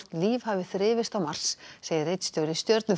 líf hafi þrifist á Mars segir ritstjóri